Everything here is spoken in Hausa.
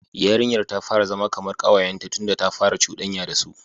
Yarinyar ta fara zama kamar kawayenta tunda ta fara cudanya da su.